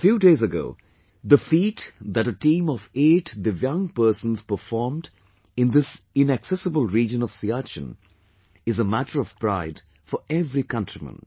A few days ago, the feat that a team of 8 Divyang persons performed in this inaccessible region of Siachen is a matter of pride for every countryman